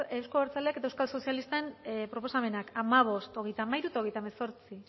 euzko abertzaleen eta euskal sozialisten proposamenak hamabost hogeita hamairu eta hogeita hemezortzi